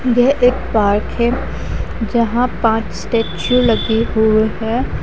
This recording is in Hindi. यह एक पार्क हैं जहां पाँच स्टैचू लगे हुए हैं।